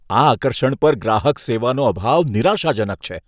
આ આકર્ષણ પર ગ્રાહક સેવાનો અભાવ નિરાશાજનક છે.